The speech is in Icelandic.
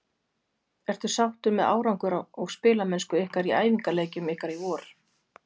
Ertu sáttur með árangur og spilamennsku ykkar í æfingaleikjum ykkar í vor?